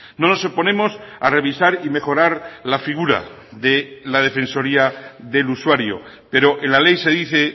no nos oponemos a revisar y mejorar la figura de la defensoría del usuario pero en la ley se dice